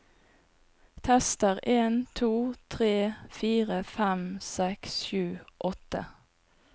Tester en to tre fire fem seks sju åtte